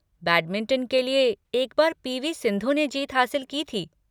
Badminton के लिए, एक बार पी. वी. सिंधु ने जीत हासिल की थी।